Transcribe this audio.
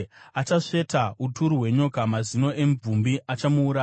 Achasveta uturu hwenyoka; mazino emvumbi achamuuraya.